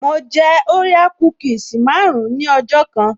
Mo jẹ orea kúkìsì marun-un ní ọjọ́ kan